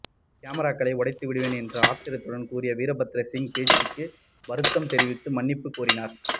கேமராக்களை உடைத்து விடுவேன் என்று ஆத்திரத்துடன் கூறிய வீரபத்ரசிங் பேச்சுக்கு வருத்தம் தெரிவித்து மன்னிப்பு கோரினார்